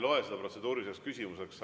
Ma ei loe seda protseduuriliseks küsimuseks.